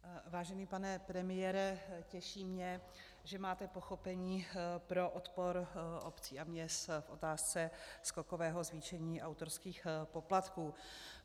Vážený pane premiére, těší mě, že máte pochopení pro odpor obcí a měst v otázce skokového zvýšení autorských poplatků.